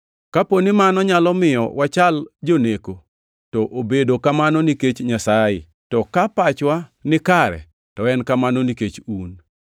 Kapo ni mano nyalo miyo wachal joneko, to obedo kamano nikech Nyasaye; to ka pachwa ni kare, to en kamano nikech un.